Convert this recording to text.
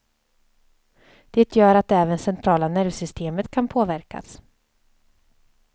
Det gör att även centrala nervsystemet kan påverkas.